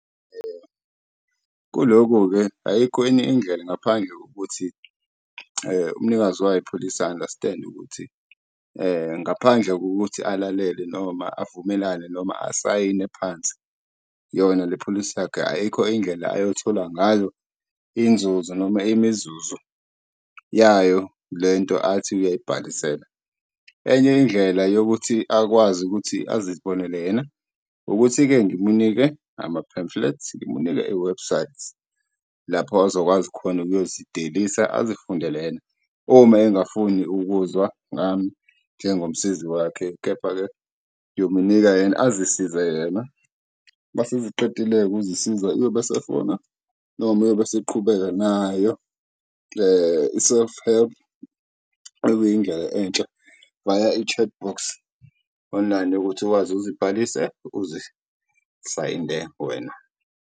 Kulokhu-ke ayikho enye indlela ngaphandle kokuthi umnikazi wayo ipholisi a-understand-e ukuthi ngaphandle kokuthi alalele noma avumelane noma asayine phansi yona le pholisi yakhe, ayikho indlela ayothola ngayo inzuzo noma imizuzu yayo le nto athi uyayibhalisela. Enye indlela yokuthi akwazi ukuthi azibonele yena, ukuthi-ke ngimunike ama-pamphlets, ngimunike iwebhusayithi lapho azokwazi khona ukuyozidelisa azifundele yena uma engafuni ukuzwa ngami njengomsizi wakhe. Kepha-ke ngiyomnika yena, azisize yena uma eseqedile-ke ukuzisiza uyobe esefona noma uyobe eseqhubeka nayo le i-self-help, ekuyindlela entsha via-chatbox online ukuthi wazi, uzibhalise, uzisayinde wena.